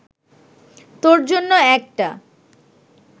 তোর জন্য একটা